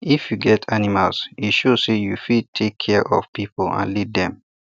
if you get animals e show say you fit take care of people and lead them